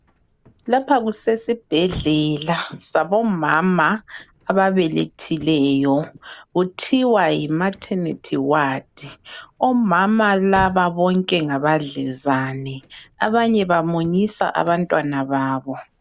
Lapha kusesibhedlela sabomama ababelethileyo. Kuthiwa yi maternity ward. Omama laba bonke ngabadlezane abanye bamunyisa abantwana babo.